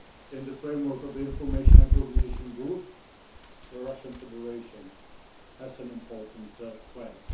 in the framework of the information and coordination group, in which the Russian Federation has an important place.